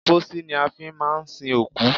Pósí ni a fi máà ń sin òkú.